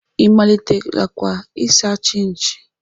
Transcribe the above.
Ị malitelakwa ịsa chinchi?